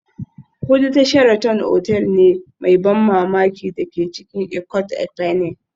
Hudu ta Sheraton otal ne mai ban mamaki da ke cikin Ikot Ekpene